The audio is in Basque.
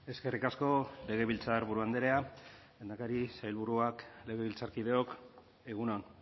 eskerrik asko legebiltzarburu andrea lehendakari sailburuak legebiltzarkideok egun on